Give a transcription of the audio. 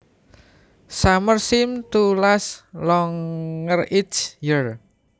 Summer seems to last longer each year